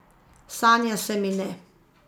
Sanja se mi ne.